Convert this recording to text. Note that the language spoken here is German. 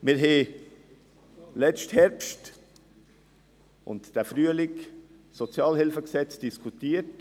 Wir haben letzten Herbst und diesen Frühling über das Gesetz über die öffentliche Sozialhilfe (Sozialhilfegesetz, SHG) diskutiert.